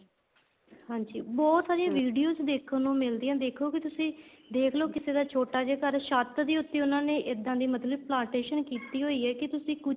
ਹਾਂਜੀ ਬਹੁਤ ਸਾਰੀਆਂ videos ਦੇਖਣ ਨੂੰ ਮਿਲਦੀਆਂ ਦੇਖੋ ਕੀ ਤੁਸੀਂ ਦੇਖਲੋ ਕਿਸੇ ਦਾ ਛੋਟਾ ਜਾ ਘਰ ਛੱਤ ਤੇ ਉੱਤੇ ਉਹਨਾ ਇਹਦਾ ਦੀ ਮਤਲਬ plantation ਕੀਤੀ ਹੋਈ ਆ ਕੀ ਤੁਸੀਂ ਕੁੱਛ